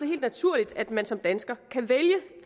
helt naturligt at man som dansker kan vælge